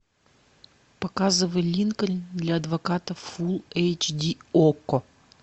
показывай линкольн для адвоката фул эйч ди окко